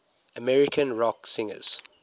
american rock singers